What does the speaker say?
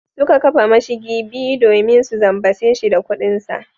Suka kafa mashigi biyu domin su zambace shi da kudinsa.